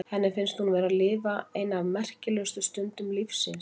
Henni finnst hún vera að lifa eina af merkilegustu stundum lífs síns.